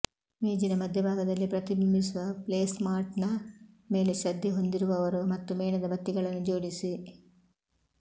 ಮೇಜಿನ ಮಧ್ಯಭಾಗದಲ್ಲಿ ಪ್ರತಿಬಿಂಬಿಸುವ ಪ್ಲೇಸ್ಮಾಟ್ನ ಮೇಲೆ ಶ್ರದ್ಧೆ ಹೊಂದಿರುವವರು ಮತ್ತು ಮೇಣದ ಬತ್ತಿಗಳನ್ನು ಜೋಡಿಸಿ